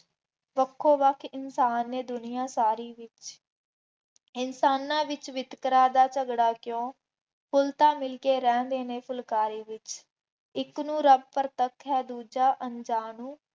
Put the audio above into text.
ਵੱਖੋ ਵੱਖ ਇਨਸਾਨ ਨੇ ਦੁਨੀਆਂ ਸਾਰੀ ਵਿੱਚ, ਇਨਸਾਨਾਂ ਵਿੱਚ ਵਿਤਕਰਾ ਦਾ ਝਗੜਾ ਕਿਉਂ, ਫੁੱਲ ਤਾਂ ਮਿਲਕੇ ਰਹਿੰਦੇ ਨੇ ਫੁਲਕਾਰੀ ਵਿੱਚ, ਇੱਕ ਨੂੰ ਰੱਬ ਪ੍ਰਤੱਖ ਹੈ, ਦੂਜਾ ਅਣਜਾਣ